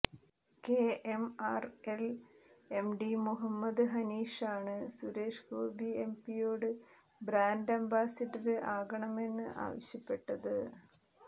KMRL MD Muhammad ഹനീഷാണ് സുരേഷ് ഗോപി എംപിയോട് brand ambassador ആകണമെന്ന് ആവശ്യപ്പെട്ടത്